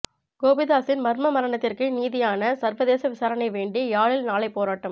கோபிதாசின் மர்ம மரணத்திற்கு நீதியான சா்வதேச விசாரணை வேண்டி யாழில் நாளை போராட்டம்